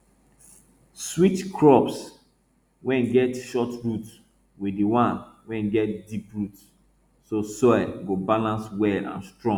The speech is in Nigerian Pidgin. switch crops wey get short root with the ones wey get deep root so soil go balance well and strong